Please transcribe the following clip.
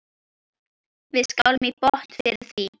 Við skálum í botn fyrir því.